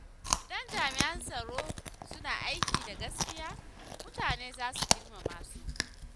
Idan jami’an tsaro suna aiki da gaskiya, mutane za su girmama su.